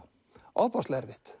ofboðslega erfitt